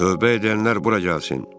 "Tövbə edənlər bura gəlsin!